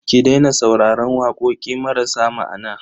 Ki daina sauraron waƙoƙi marasa ma'ana.